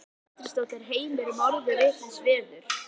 Edda Andrésdóttir: Heimir er orðið vitlaust veður?